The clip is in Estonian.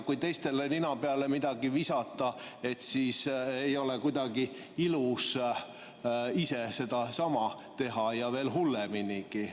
Kui teistele midagi nina peale visata, siis ei ole kuidagi ilus ise sedasama teha ja veel hulleminigi.